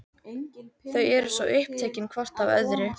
Þau eru svo upptekin hvort af öðru.